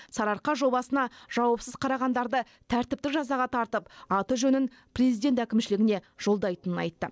сарыарқа жобасына жауапсыз қарағандарды тәртіптік жазаға тартып аты жөнін президент әкімшілігіне жолдайтынын айтты